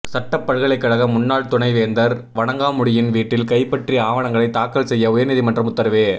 சட்டப் பல்கலைக்கழக முன்னாள் துணை வேந்தர் வணங்காமுடியின் வீட்டில் கைப்பற்றி ஆவணங்களை தாக்கல் செய்ய உயர்நீதிமன்றம் உத்தரவு